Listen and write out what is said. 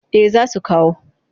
Eh za su kawo